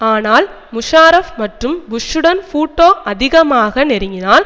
ஆனால் முஷாரஃப் மற்றும் புஷ்ஷூடன் பூட்டோ அதிகமாக நெருங்கினால்